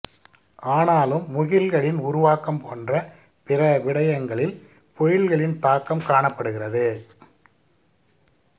ஆனாலும் முகில்களின் உருவாக்கம் போன்ற பிற விடயங்களில் பொழில்களின் தாக்கம் காணப்படுகின்றது